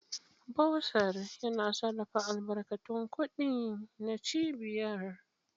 Bursar: Yana sarrafa albarkatun kuɗi na cibiyar.